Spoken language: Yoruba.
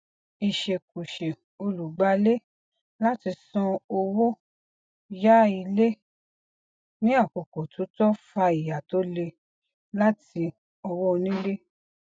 ìṣèkùsè olùgbàlé láti san owó yá ilé ní àkókò tó tọ fa ìyà tó le láti ọwọ onílé